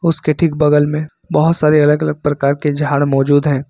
उसके ठीक बगल में बहुत सारे अलग अलग प्रकार के झाड़ मौजूद हैं।